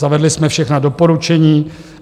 Zavedli jsme všechna doporučení.